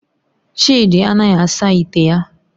Chidi anaghi asa ite ya